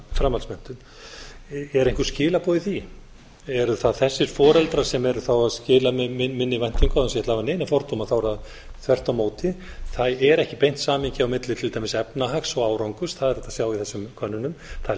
framhaldsmenntun eru einhver skilaboð í því eru það þessir foreldrar sem eru að skila minni væntingum án þess að ég ætli að hafa neina fordóma er það þvert á móti það er ekki beint samhengi á milli til dæmis efnahags og árangurs það er hægt að sjá í þessum könnunum það er